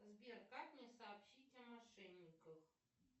сбер как мне сообщить о мошенниках